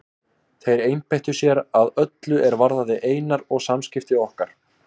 Þeir einbeittu sér að öllu er varðaði Einar og samskipti okkar.